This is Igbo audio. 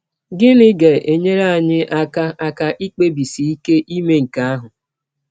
Gịnị ga - enyere anyị aka aka ikpebisi ike ime nke ahụ?